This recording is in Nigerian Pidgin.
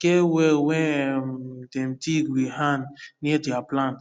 get well wen um dem dig wit hand near dier plant